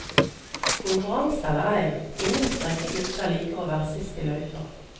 Konkurranse eller ei, ingen spreke gutter liker å være sist i løypa.